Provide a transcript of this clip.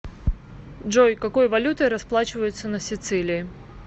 джой какой валютой расплачиваются на сицилии